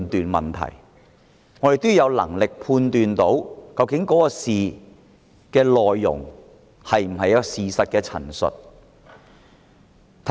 我們要有能力判斷議案的內容是否事實的陳述。